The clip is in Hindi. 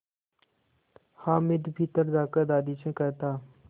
हामिद भीतर जाकर दादी से कहता